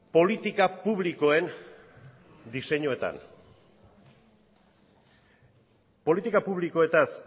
politika publikoen diseinoetan politika publikoetaz